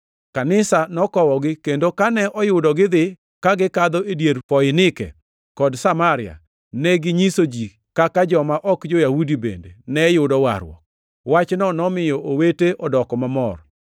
Kanisa nokowogi, kendo kane oyudo gidhi, ka gikadho e dier Foinike kod Samaria, neginyiso ji kaka joma ok jo-Yahudi bende ne yudo warruok. Wachno nomiyo owete odoko mamor.